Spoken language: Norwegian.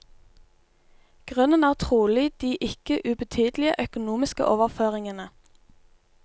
Grunnen er trolig de ikke ubetydelige økonomiske overføringene.